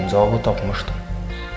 Və anidən cavabı tapmışdım.